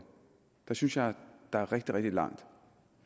synes jeg der er rigtig rigtig langt